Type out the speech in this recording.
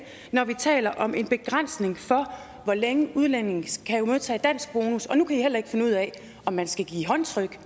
når vi taler om en begrænsning for hvor længe udlændinge kan modtage danskbonus og nu kan i heller ikke finde ud af om man skal give håndtryk